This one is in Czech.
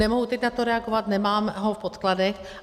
Nemohu teď na to reagovat, nemám ho v podkladech.